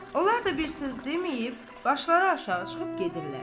Onlar da bir söz deməyib, başları aşağı çıxıb gedirlər.